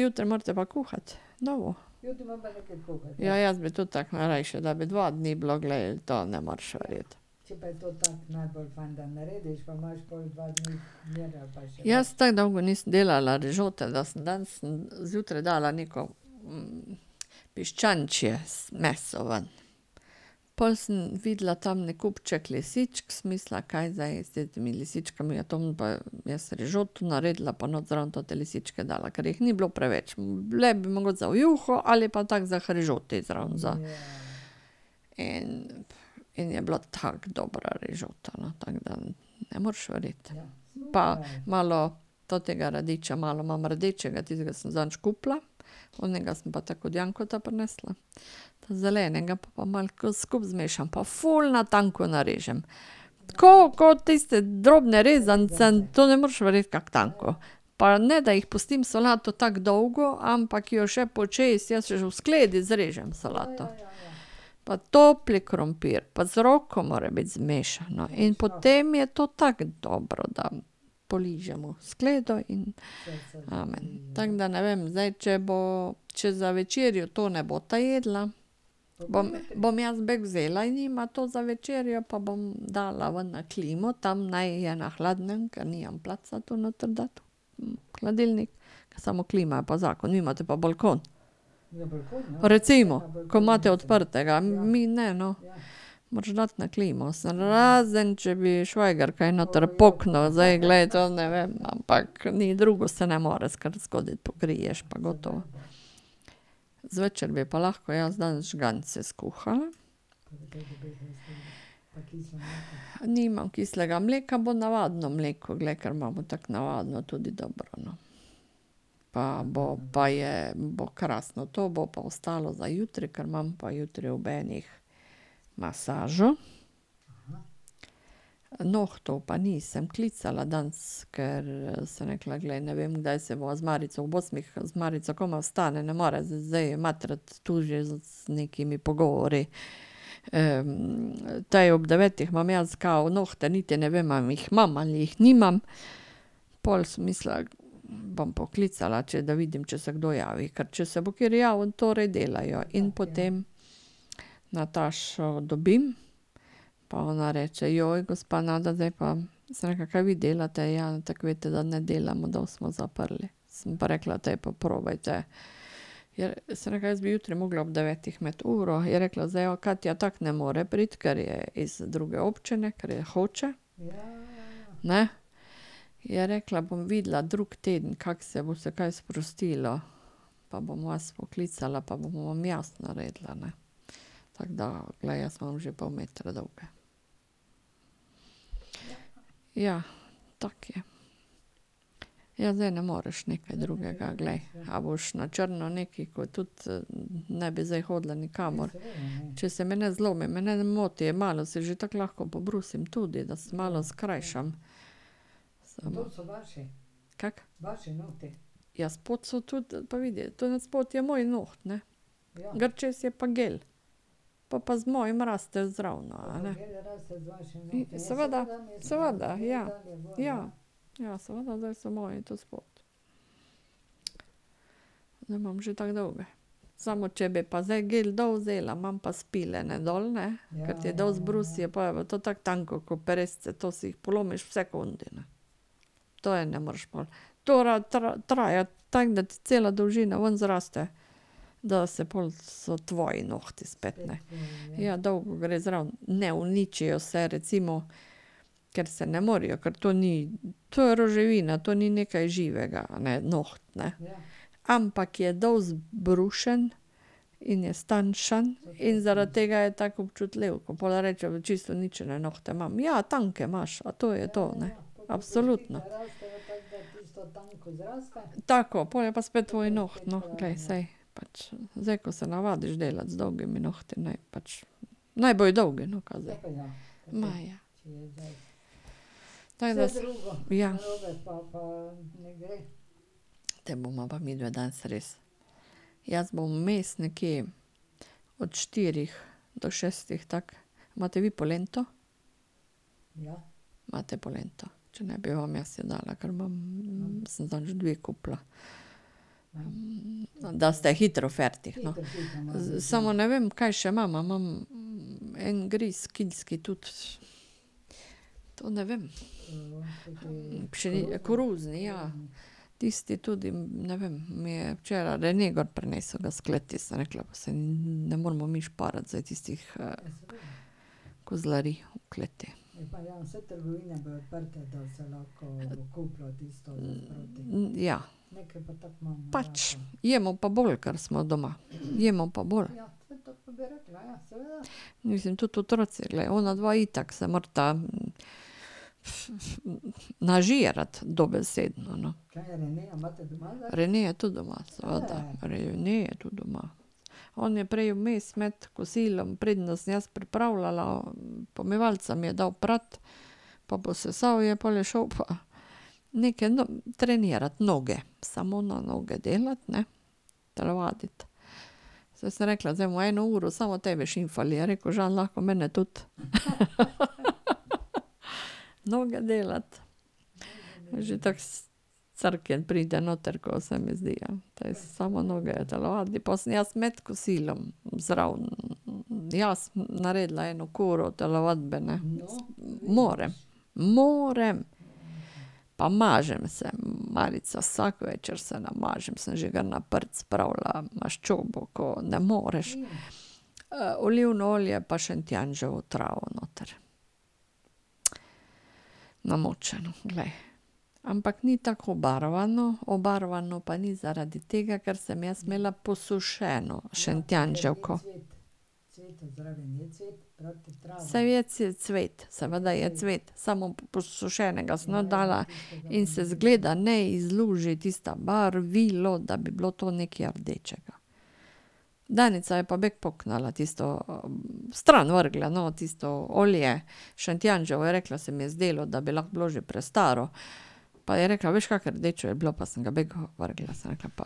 jutri morate pa kuhati, . Ja, jaz bi tudi tako najrajši, da bi dva dni bilo, glej, to ne moreš verjeti. Jaz tako dolgo nisem delala rižote, da sem danes zjutraj dala neko piščančje meso ven. Pol sem videla tamle kupček lisičk, sem mislila, kaj zdaj s temi lisičkami, ja, to bom pa jaz rižoto naredila pa not zraven te lisičke dala, ker jih ni bilo preveč, bile bi mogoče za v juho ali pa tako za k rižoti zraven za. In in je bila tako dobra rižota, no, tako da ne moreš verjeti. Pa malo tega radiča, malo imam rdečega, tistega sem zadnjič kupila, onega sem pa tako od Jankota prinesla, ta zelenega, pol pa malo tako skupaj zmešam pa ful na tanko narežem. Tako kot tiste drobne rezance, to ne moreš verjeti kako tanko. Pa ne da jih pustim solato tako dolgo, ampak jo še počez, jaz že v skledi zrežem solato. Pa topli krompir, pa z roko mora biti zmešano, in potem je to tako dobro, da poližemo skledo in amen. Tako da ne vem, zdaj če bo, če za večerjo to ne bosta jedla, bom jaz bek vzela in jima to za večerjo, pa bom dala ven na klimo, tam naj je na hladnem, ker nimam placa tu noter dati v hladilnik. Samo klima je pa zakon, vi imate pa balkon. Recimo, ko imate odprtega, mi ne, no. Moraš dati na klimo, razen če bi švajger kaj noter poknil, zdaj, glej, to ne vem, ampak, ni drugo se ne more zgoditi, pokriješ pa gotovo. Zvečer bi pa lahko jaz danes žgance skuhala. Nimam kislega mleka, bo navadno mleko, glej, ker imamo tako navadno, tudi dobro, no. Pa bo, pa je, bo krasno, to bo pa ostalo za jutri, ker imam pa jutri ob enih masažo. Nohtov pa nisem klicala danes, ker sem rekla, glej, ne vem, kdaj se bova z Marico, ob osmih z Marico komaj vstali, ne more zdaj matrati tu že z nekimi pogovori. to je ob devetih imam jaz kao nohte, niti ne vem, a jih imam ali jih nimam, pol sem mislila, bom poklicala, če da vidim, če se kdo javi, ker če se bo kateri javil, torej delajo in potem Natašo dobim pa ona reče: gospa Nada, zdaj pa." Sem rekla: "Kaj vi delate?" "Ja, tako veste, da ne delamo, da smo zaprli." Sem pa rekla: "Daj, pa probajte." sem rekla: "Jaz bi jutri morala ob devetih imeti uro." Je rekla: "Zdaj Katja tako ne more priti, ker je iz druge občine, ker je Hoče." "Ne," je rekla, "bom videla drug teden, kako se bo, se kaj sprostilo, pa bom vas poklicala pa bom vam jaz naredila, ne." Tako da glej, jaz imam že pol metra dolge. Ja, tako je. Ja zdaj ne moreš nekaj drugega, glej, ali boš na črno nekaj, ko tudi ne bi zdaj hodila nikamor. Če se meni zlomi, mene ne moti, malo se že tako lahko pobrusim tudi, da si malo skrajšam. Kako? Ja, spodaj so tudi, pa vidi tam spodaj je moj noht, ne. Gor čez je pa gel, pol pa z mojim raste zraven, a ne. Seveda, seveda, ja, ja. Ja, seveda, da so moji tu spodaj. Zdaj imam že tako dolge. Samo če bi pa zdaj gel dol vzela, imam pa spiljene dol, ne, ker ti dol zbrusi, pol je pa to tako tanko ko peresce, to si jih polomiš v sekundi, ne. To je ne moreš pol. To traja tako, da ti cela dolžina ven zraste, da se pol so tvoji nohti spet, ne. Ja, dolgo gre zraven. Ne uničijo se recimo, ker se ne morejo. Ker to ni, to je roževina, to ni nekaj živega, ne, noht, ne, ampak je dol zbrušen in je stanjšan in zaradi tega je tako občutljiv. Ko pol rečejo "čisto uničene nohte imam", "ja, tanke imaš, to je to, ne". Absolutno. Tako, pol je pa spet tvoj noht, no, glej, saj. Pač zdaj, ko se navadiš delati z dolgimi nohti, naj pač naj bojo dolgi, no, ka zdaj. Ma ja. Tako da. Ja. Te bova pa midve danes res. Jaz bom vmes nekje, od štirih do šestih tako. Imate vi polento? Imate polento. Če ne, bi vam jaz jo dala, ker imam, sem zadnjič dve kupila. Da ste hitro fertik, no. Samo ne vem, kaj še imam, a imam en gres kilski tudi. To ne vem. koruzni, ja. Tisti tudi, ne vem, mi je včeraj Rene gor prinesel ga s kleti, sem rekla: "Pa saj ne moremo mi šparati zdaj tistih kozlarij v kleti." Ja. Pač. Jemo pa bolj, kar smo doma, jemo pa bolj. Mislim tudi otroci, glej, onadva itak se morata nažirati, dobesedno, no. Rene je tudi doma, seveda. Rene je tudi doma. On je prej vmes med kosilom, preden sem jaz pripravljala, pomivalca mi je dal prati pa posesal je, pol je šel pa neke trenirati noge. Samo na noge delati, ne. Telovaditi. Saj sem rekla: "Zdaj bova eno uro samo tebe šimfali." Je rekel Žan: "Mene lahko tudi." Noge delati. Že tako crknjen pride noter, ko se mi zdi, ja. Samo noge telovadi, pol sem jaz med kosilom zraven, jaz naredila eno kuro telovadbene. Moram, moram. Pa mažem se, Marica, vsak večer se namažem, sem že kar na prt spravila maščobo, ko ne moreš. Olivno olje pa šentjanževo travo noter namočeno, glej. Ampak ni tako obarvano, obarvano pa ni zaradi tega, ker sem jaz imela posušeno šentjanževko. Saj je cvet, seveda je cvet, samo posušenega sem not dala in se izgleda ne izluži tisto barvilo, da bi bilo to nekaj rdečega. Danica je pa bek poknila tisto, stran vrgla, no, tisto olje šentjanževo, je rekla: "Se mi je zdelo, da bi lahko bilo že prestaro." Pa ja rekla: "Veš, kako rdeče je bilo, pa sem ga bek vrgla." Sem rekla: "Pa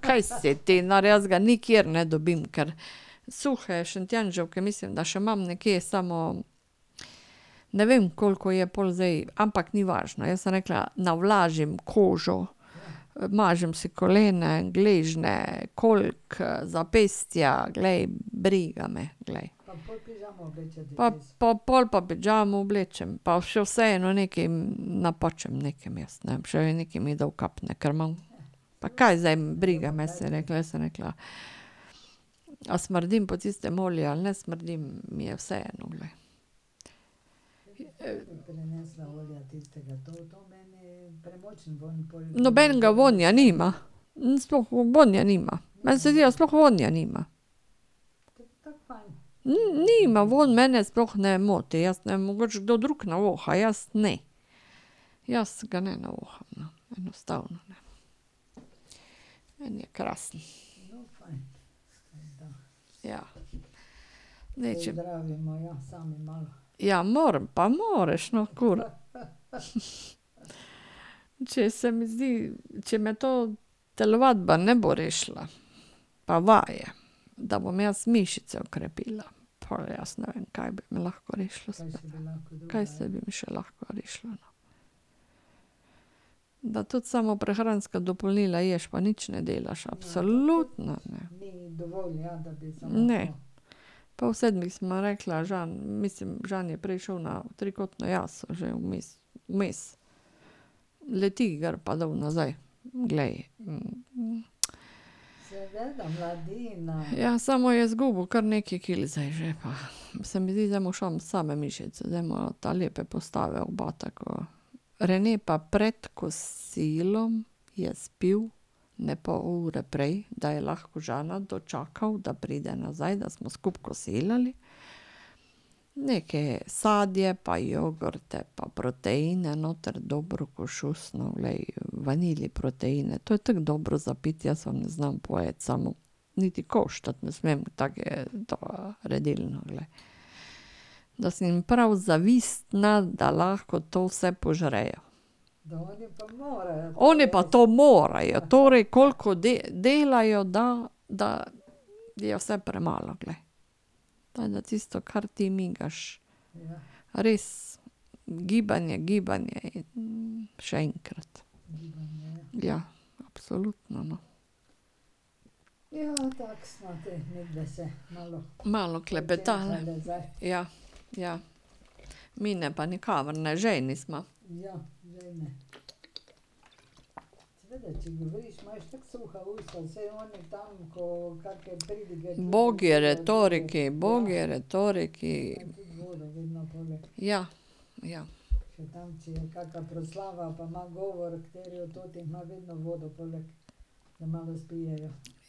kaj si ti nor, jaz ga nikjer ne dobim, ker suhe šentjanževke, mislim, da še imam nekje, samo ne vem, koliko je pol zdaj, ampak ni važno." Jaz sem rekla: "Navlažim kožo, mažem si kolena, gležnje, kolk, zapestja, glej, briga me, glej." Pa pol pa pižamo oblečem, pa še vseeno nekaj napačem nekam jaz, ne vem, še vedno mi nekaj dol kapne, ker imam. Pa kaj zdaj, briga me, sem rekla, sem rekla, a smrdim po tistem olju ali ne smrdim, mi je vseeno, glej. Nobenega vonja nima. Sploh vonja nima, meni se zdi, da sploh vonja nima. Nima, vonj mene sploh ne moti, jaz ne vem, mogoče kdo drug voha, jaz ne. Jaz ga ne voham, no, enostavno, ne. Meni je krasen. Ja, moram, pa moraš, no. Če se mi zdi, če me to telovadba ne bo rešila. Pa vaje. Da bom jaz mišice okrepila. Pol jaz ne vem, kaj bi me lahko rešilo. Kaj se bi me še lahko rešilo ... Da tudi samo prehranska dopolnila ješ pa nič ne delaš, absolutno ne. Ne. Ob pol sedmih sva rekla z Žanom, mislim Žan je prej šel na , jaz že vmes vmes, Leti gor pa dol nazaj. Glej ... Ja, samo je zgubil kar nekaj kil zdaj že pa se mi zdi, da mu same mišice, zdaj ima ta lepe postave, oba tako. Rene pa pred kosilom je spil, ne, pol ure prej, da je lahko Žana dočakal, da pride nazaj, da smo skupaj kosilali. Neke sadje pa jogurte pa proteine noter, dobro ko šus nov, glej, vanili proteine, to je tako dobro za piti, jaz vam ne znam povedati, samo niti koštati ne smem, tako da, redilno, glej. Da sem jim prav zavistna, da lahko to vse požrejo. Oni pa to morajo, torej koliko delajo, da da je vse premalo, glej. da ti migaš. Res. Gibanje, gibanje je ... še enkrat. Ja, absolutno, no. Malo klepetale. Ja, ja. Mine pa nikamor ne, žejni sva. Ubogi retoriki, ubogi retoriki. Ja, ja.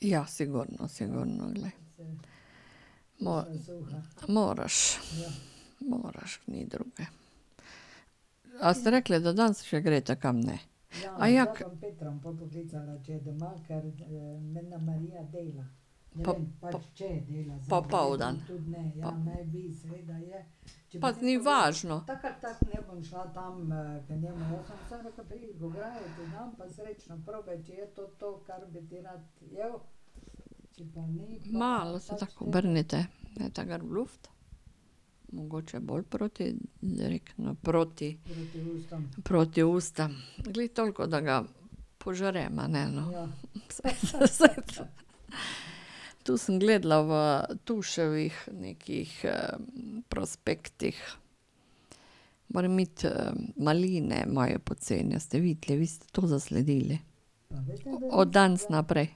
Ja, sigurno, sigurno, glej. Moraš. Moraš, ni druge. A ste rekle, da danes še greste kam, ne? Popoldan? Pa ni važno. Malo se tako obrnite, dajte gor v luft. Mogoče bolj proti, direktno proti ... Proti ustom, glih toliko, da ga požrem, a ne, no. Tu sem gledala v Tuševih nekih prospektih, moram iti maline imajo poceni, ste videli? Vi ste to zasledili? Od danes naprej.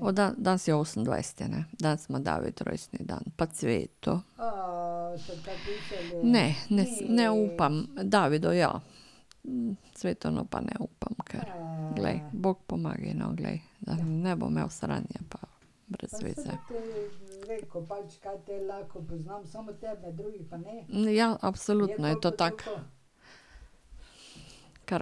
Od danes je osemindvajseti, ne? Danes ima David rojstni dan pa Cveto. Ne, ne ne upam, Davidu, ja. Cvetanu pa ne upam, ker, glej, bog pomagaj, no, glej, ne bo imel sranje pa brez veze. Ja, absolutno je to tako.